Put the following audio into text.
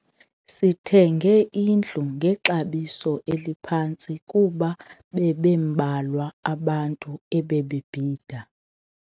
Sithenge indlu ngexabiso eliphantsi kuba bebembalwa abantu ebebebhida.